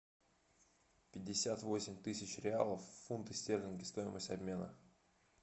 пятьдесят восемь тысяч реалов фунты стерлинги стоимость обмена